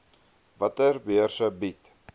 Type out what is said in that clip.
watter beurse bied